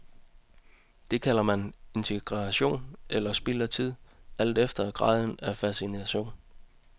Det kalder man interaktion, eller spild af tid, alt efter graden af fascination.